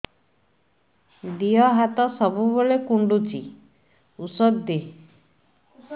ଦିହ ହାତ ସବୁବେଳେ କୁଣ୍ଡୁଚି ଉଷ୍ଧ ଦେ